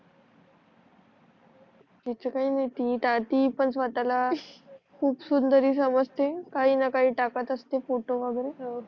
तस काही नाही नि पण स्वतःला खूप सुंदरी समजते काही न काही टाकत असते फोटो वगेरे